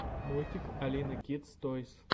мультик алины кидс тойс